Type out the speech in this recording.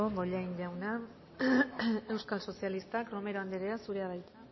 bollain jauna euskal sozialistak romero anderea zurea da hitza